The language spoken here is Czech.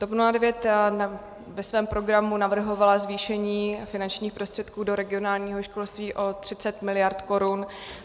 TOP 09 ve svém programu navrhovala zvýšení finančních prostředků do regionálního školství o 30 mld. korun.